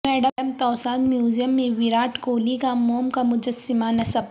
madam Tussauds museum میں وراٹ کوہلی کا موم کا مجسمہ نصب